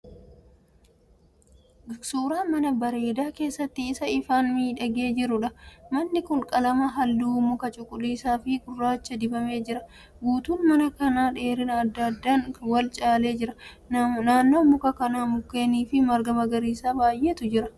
Suuraa mana bareedaa keessi isaa ifaan miidhagee jiruudha. Manni kun qalama halluu makaa cuquliisaa fi gurraachaan dibamee jira. Guutuun mana kanaa dheerina adda addaan wal caalee jira. Naannoo muka kanaa mukeen fi marga magariisa baay'eetu jira.